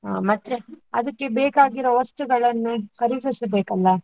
ಹಾ ಮತ್ತೆ ಅದಕ್ಕೆ ಬೇಕಾಗಿರುವ ವಸ್ತುಗಳನ್ನು ಖರೀದಿಸಬೇಕಲ್ಲ?